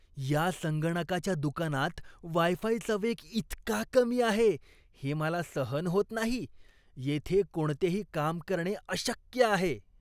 या संगणकाच्या दुकानात वाय फायचा वेग इतका कमी आहे, हे मला सहन होत नाही. येथे कोणतेही काम करणे अशक्य आहे.